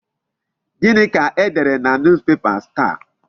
Gịnị ka e dere na Newspapers taa?